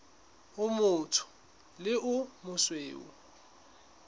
o motsho le o mosweu